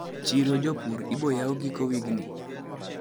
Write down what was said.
Chiro jopur iboyaw giko wigni?